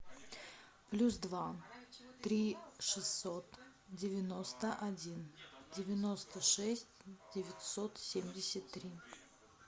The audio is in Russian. плюс два три шестьсот девяносто один девяносто шесть девятьсот семьдесят три